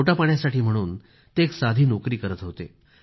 पोटापाण्यासाठी म्हणून ते एक साधी नोकरी करीत होते